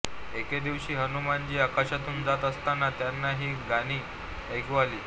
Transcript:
एके दिवशी हनुमानजी आकाशातून जात असतांना त्यांना ही गाणी ऐकू आली